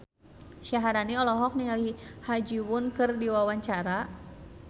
Syaharani olohok ningali Ha Ji Won keur diwawancara